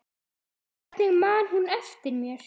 Hvernig man hún eftir mér?